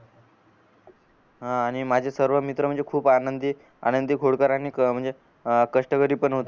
आणि माझे सर्व मित्र म्हणजे खूप आनंदी आनंदी खोडकर आणि अह म्हणजे अह कष्टकरी पण होते